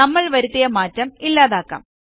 നമ്മൾ വരുത്തിയ മാറ്റം ഇല്ലാതാക്കാം